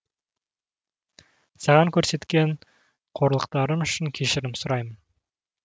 саған көрсеткен қорлықтарым үшін кешірім сұраймын